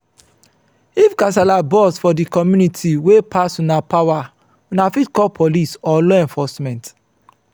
if kasala burst for di community wey pass una power una fit call police or law enforcement